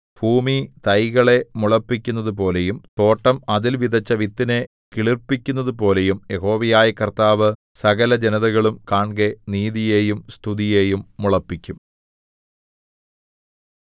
ഭൂമി തൈകളെ മുളപ്പിക്കുന്നതുപോലെയും തോട്ടം അതിൽ വിതച്ച വിത്തിനെ കിളിർപ്പിക്കുന്നതുപോലെയും യഹോവയായ കർത്താവ് സകലജനതകളും കാൺകെ നീതിയെയും സ്തുതിയെയും മുളപ്പിക്കും